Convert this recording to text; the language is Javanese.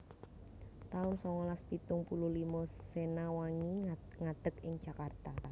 taun songolas pitung puluh limo Sena Wangi ngadeg ing Jakarta